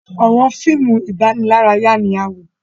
àwọn fíìmù idanilaraya ní a wọ.